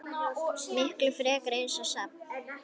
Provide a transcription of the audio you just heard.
Miklu frekar eins og safn.